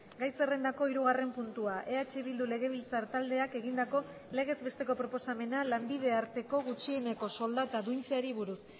gai zerrendako hirugarren puntua eh bildu legebiltzar taldeak egindako legez besteko proposamena lanbide arteko gutxieneko soldata duintzeari buruz